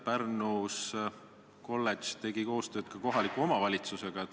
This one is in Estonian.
Pärnu kolledž tegi koostööd ka kohaliku omavalitsusega.